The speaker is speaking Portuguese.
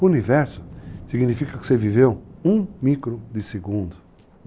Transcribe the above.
O universo significa que você viveu um micro de segundo.